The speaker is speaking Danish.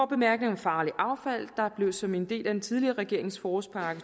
bemærkning om farligt affald der blev som en del af den tidligere regerings forårspakke